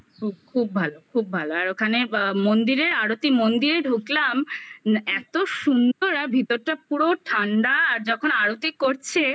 খুব খুব ভালো খুব ভালো আর ওখানে মন্দিরে আরতি মন্দিরে ঢুকলাম এত সুন্দর আর ভিতরটা পুরো ঠান্ডা আর যখন আরতি করছে